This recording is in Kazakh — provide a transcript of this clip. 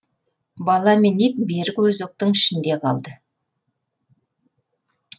бала мен ит бергі өзектің ішінде қалды